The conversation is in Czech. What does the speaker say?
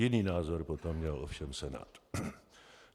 Jiný názor potom měl ovšem Senát.